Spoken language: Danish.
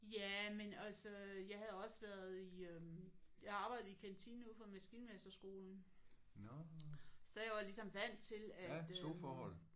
Ja men altså jeg havde også været i øh jeg havde arbejdet i kantinen ude på maskinmesterskolen så jeg var ligesom vant til at